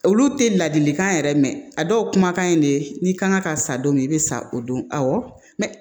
Olu tɛ ladilikan yɛrɛ mɛn a dɔw kumakan in de ye n'i kan ka san don min i bɛ sa o don awɔ